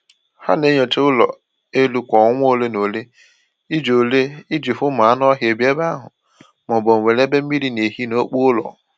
Ha na-enyocha ụlọ elu kwa ọnwa ole na ole iji ole iji hụ ma anụ ọhịa dị ebe ahụ, ma ọ bụ onwere ebe mmiri n'ehi n’ọkpọ ụlọ